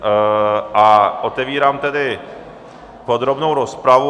A otevírám tedy podrobnou rozpravu.